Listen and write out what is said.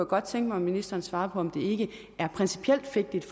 godt tænke mig at ministeren svarer på om det ikke er principielt vigtigt